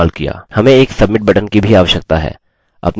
हमें एक submit button की भी आवश्यकता है